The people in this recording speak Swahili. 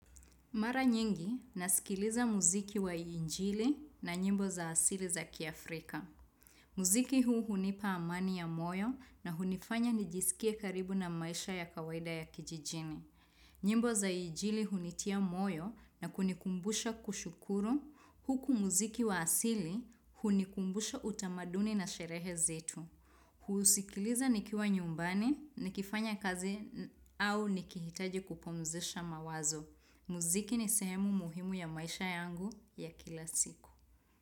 Mara nyingi, nasikiliza muziki wa injili na nyimbo za asili za kiafrika. Muziki huu hunipa amani ya moyo na hunifanya nijisikie karibu na maisha ya kawaida ya kijijini. Nyimbo za injili hunitia moyo na kunikumbusha kushukuru. Huku muziki wa asili, hunikumbusha utamaduni na sherehe zetu. Husikiliza nikiwa nyumbani, nikifanya kazi au nikihitaji kupumzisha mawazo. Muziki ni sehemu muhimu ya maisha yangu ya kila siku.